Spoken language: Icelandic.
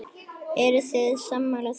Eruð þið sammála því?